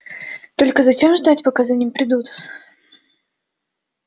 только зачем ждать пока за ним придут